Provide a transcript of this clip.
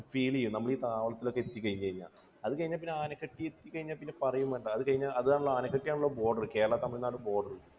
feel ചെയ്യും. നമ്മൾ ഈ താവളത്തിൽ ഒക്കെ എത്തിക്കഴിഞ്ഞു കഴിഞ്ഞാൽ. അതുകഴിഞ്ഞാൽ പിന്നെ ആനക്കട്ടി എത്തി കഴിഞ്ഞാൽ പിന്നെ പറയുകയും വേണ്ട. അതുകഴിഞ്ഞ്, അതാണല്ലോ ആനക്കട്ടി ആണല്ലോ border. കേരള തമിഴ്നാട് border.